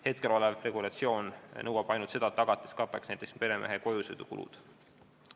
Hetkel nõuab regulatsioon ainult seda, et tagatis kataks meremehe kojusõidukulud.